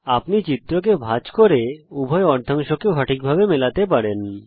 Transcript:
আপনি চিত্রকে ভাঁজ করতে পারেন এবং উভয় অর্ধাংশকে সঠিকভাবে মেলাতে পারেন